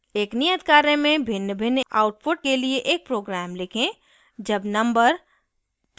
एक नियत कार्य में भिन्नभिन्न output के लिए एक program लिखें जब number